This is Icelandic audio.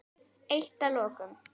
Eitt að lokum.